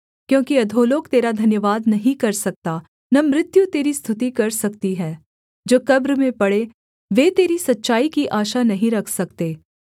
क्योंकि अधोलोक तेरा धन्यवाद नहीं कर सकता न मृत्यु तेरी स्तुति कर सकती है जो कब्र में पड़ें वे तेरी सच्चाई की आशा नहीं रख सकते